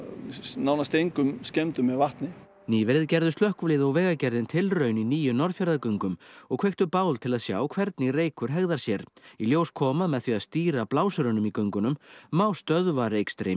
nánast engum skemmdum með vatni nýverið gerðu slökkvilið og Vegagerðin tilraun í nýju Norðfjarðargöngum og kveiktu bál til að sjá hvernig reykur hegðar sér í ljós kom að með því að stýra blásurunum í göngunum má stöðva